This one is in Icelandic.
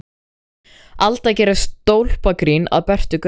Alda gerir stólpagrín að Bertu Gauks.